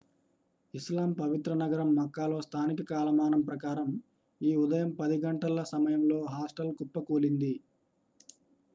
ఇస్లాం పవిత్ర నగరం మక్కాలో స్థానిక కాలమానం ప్రకారం ఈ ఉదయం 10 గంటల సమయంలో హాస్టల్ కుప్పకూలింది